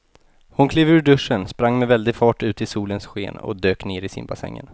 Hon klev ur duschen, sprang med väldig fart ut i solens sken och dök ner i simbassängen.